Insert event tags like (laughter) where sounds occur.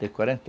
De quarenta e (unintelligible)